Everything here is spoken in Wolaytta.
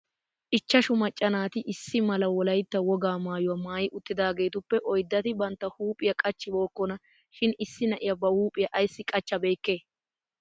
Ichchashshu macca naati issi mala wolaytta wogaa maayuwaa maayi uttidaagetuppe oyddati bantta huuphphiyaa qachchibokona shin issi na'iyaa ba huuphphiyaa ayssi qachabeyike?